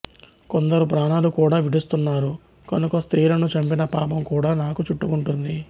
కొందరు ప్రాణాలు కూడా విడుస్తున్నారు కనుక స్త్రీలను చంపిన పాపం కూడా నాకు చుట్టుకుంటుంది